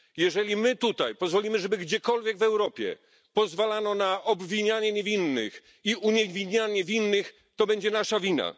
Jeżeli my tutaj pozwolimy żeby gdziekolwiek w Europie pozwalano na obwinianie niewinnych i uniewinnienie winnych, to będzie nasza wina.